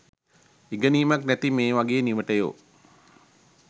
ඉගෙනීමක් නැති මේ වගේ නිවටයො